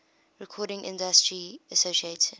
recording industry association